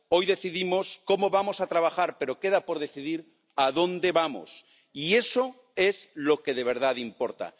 Hoy decidimos cómo vamos a trabajar, pero queda por decidir adónde vamos y eso es lo que de verdad importa.